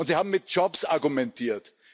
Sie haben mit Jobs argumentiert.